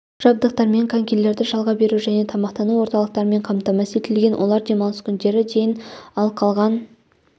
жабдықтармен конькилерді жалға беру және тамақтану орталықтарымен қамтамасыз етілген олар демалыс күндері дейін ал қалған